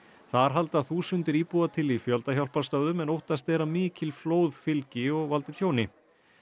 þar halda þúsundir íbúa til í fjöldahjálparstöðvum en óttast er að mikil flóð fylgi og valdi tjóni